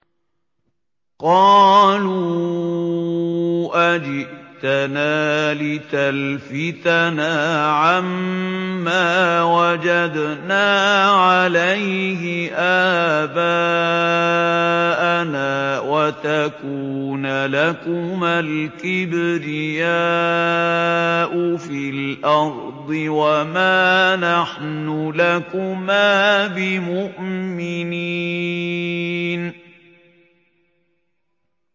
قَالُوا أَجِئْتَنَا لِتَلْفِتَنَا عَمَّا وَجَدْنَا عَلَيْهِ آبَاءَنَا وَتَكُونَ لَكُمَا الْكِبْرِيَاءُ فِي الْأَرْضِ وَمَا نَحْنُ لَكُمَا بِمُؤْمِنِينَ